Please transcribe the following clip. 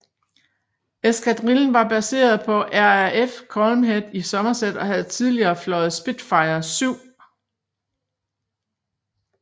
Eskadrillen var baseret på RAF Culmhead i Somerset og havde tidligere fløjet Spitfire VII